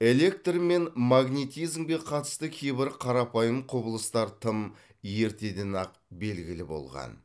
электр мен магнетизмге қатысты кейбір қарапайым қүбылыстар тым ертеден ақ белгілі болған